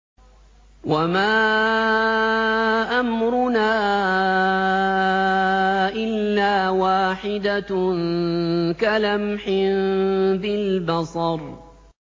وَمَا أَمْرُنَا إِلَّا وَاحِدَةٌ كَلَمْحٍ بِالْبَصَرِ